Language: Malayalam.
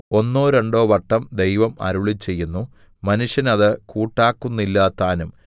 ഒന്നോ രണ്ടോ വട്ടം ദൈവം അരുളിച്ചെയ്യുന്നു മനുഷ്യൻ അത് കൂട്ടാക്കുന്നില്ലതാനും